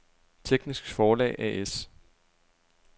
Teknisk Forlag A/S